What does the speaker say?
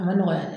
A ma nɔgɔya dɛ